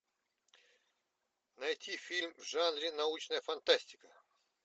найти фильм в жанре научная фантастика